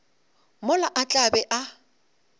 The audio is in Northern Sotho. mola a tla be a